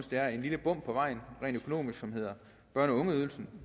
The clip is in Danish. det er et lille bump på vejen rent økonomisk som hedder børne og ungeydelsen